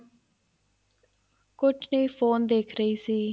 ਕੁੱਛ ਨਹੀਂ ਫੋਨ ਦੇਖ ਰਹੀ ਸੀ